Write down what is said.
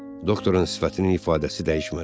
Doktorun sifətinin ifadəsi dəyişmədi.